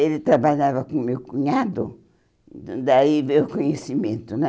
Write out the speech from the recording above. Ele trabalhava com o meu cunhado, então daí veio o conhecimento, né?